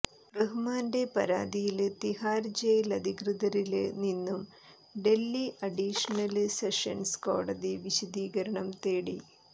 റഹ്മാന്റെ പരാതിയില് തിഹാര് ജയിലധികൃതരില് നിന്നും ഡല്ഹി അഡീഷണല് സെഷന്സ് കോടതി വിശദീകരണം തേടി